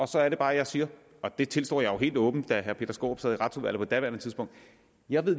så er det bare jeg siger og det tilstår jeg helt åbent da herre peter skaarup sad i retsudvalget på daværende tidspunkt at jeg